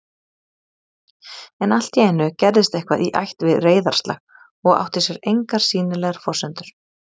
En alltíeinu gerðist eitthvað í ætt við reiðarslag og átti sér engar sýnilegar forsendur